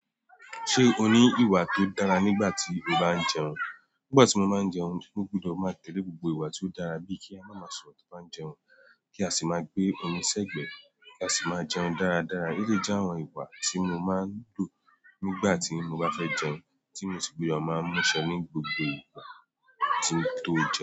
Ṣé o ní ìwà tó dára nígbà tí o bá ń jẹun? Nígbà tí mo máa ń jẹun, mo gbudọ̀ máa tẹ̀lé gbogbo ìwà tó dára bíi kí a má ma sọ̀rọ̀ tí n bá ń jẹun, kí a sì máa gbé omi sẹ́gbẹ̀ẹ́, kí a sì máa jẹun dáradára. Ólè jẹ́ àwọn ìgbà tí mo máa ń lò nígbà tí mo bá fẹ́ jẹun, tí mo sì gbúdọ̀ máa mú ṣẹ ní gbogbo ìgbà tí mo tó jẹun.